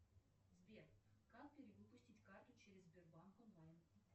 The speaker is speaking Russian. сбер как перевыпустить карту через сбербанк онлайн